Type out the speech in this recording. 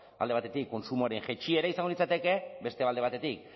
alde batetik kontsumoaren jaitsiera izango litzateke beste alde batetik